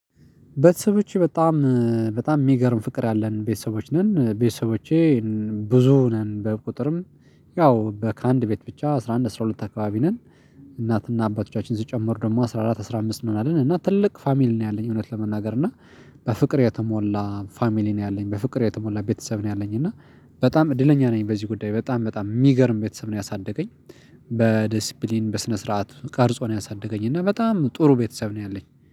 በሰዎች በጣም በጣም የሚገርም ፍቅር ያለን ቤተሰቦች ነን ቤተሰቦቼ ብዙ ነን በቁጥርም ያው ከአንድ ቤት ብቻ አስራ አንድ አስራ ሁለት አካባቢ ነን። እናትና አባቶቻችን ስጨምር ደግሞ አስራ አራት አስራ ነው አለን እና ትልቅ ፋሚሊ ነው ያለኝ እውነት ለመናገር እና። በፍቅር የተሞላ ፋሚሊ ነው ያለኝ በፍቅር የተሞላ ቤተሰብ ነው ያለኝ። እና በጣም እድለኛ ነኝ። በዚህ ጉዳይ በጣም በጣም የሚገርም ቤተሰብ ነው ያሳደገኝ። በዲሲፕሊን በስነ ስርዓት ቀርጾ ነው ያሳደገኝ። እና በጣም ጥሩ ቤተሰብ ነው ያለኝ።